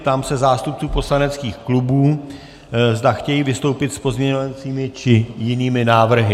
Ptám se zástupců poslaneckých klubů, zda chtějí vystoupit s pozměňovacími či jinými návrhy.